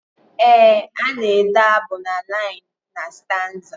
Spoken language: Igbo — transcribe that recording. Ee ana ede abụ na liinu na staanza.